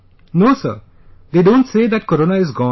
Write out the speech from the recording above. No Sir...they don't say that corona is gone